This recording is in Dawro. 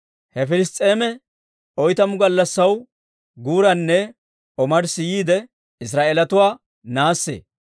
He Piliss's'eemi oytamu gallassaa guuranne omarssi yiide, Israa'eelatuwaa naassee.